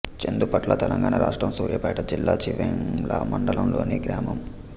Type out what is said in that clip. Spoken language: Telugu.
చెందుపట్ల తెలంగాణ రాష్ట్రం సూర్యాపేట జిల్లా చివ్వేంల మండలంలోని గ్రామం